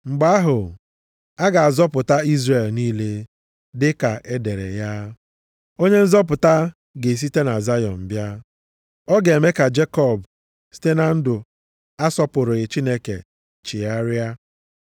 Mgbe ahụ, a ga-azọpụta Izrel niile. Dịka e dere ya, “Onye nzọpụta ga-esite na Zayọn bịa. Ọ ga-eme ka Jekọb site na ndụ asọpụrụghị Chineke chigharịa.